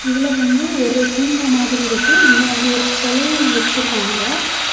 இதுல வந்து ஒரு பூங்கா மாதிரி இருக்கு இங்க வந்து ஒரு செலயும் வெச்சிருக்காங்க.